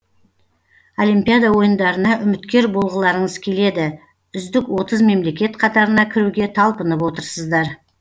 олимпиада ойындарына үміткер болғыларыңыз келеді үздік отыз мемлекет қатарына кіруге талпынып отырсыздар